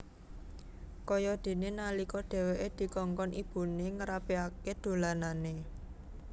Kayadene nalika dheweke dikongkon ibune ngrapikake dolanane